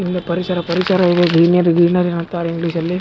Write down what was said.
ಎಲ್ಲ ಪರಿಸರ ಪರಿಸರ ಇದೆ ಗ್ರೀನರಿ ಗ್ರೀನರಿ ಅಂತಾರೆ ಇಂಗ್ಲಿಷ್ ನಲ್ಲಿ .